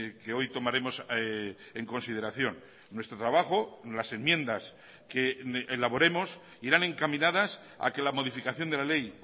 que hoy tomaremos en consideración nuestro trabajo las enmiendas que elaboremos irán encaminadas a que la modificación de la ley